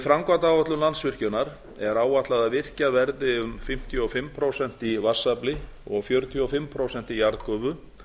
framkvæmdaáætlun landsvirkjunar er áætlað að virkjað verði um fimmtíu og fimm prósent í vatnsafli og fjörutíu og fimm prósent í jarðgufu